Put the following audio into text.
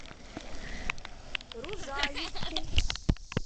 рузаевку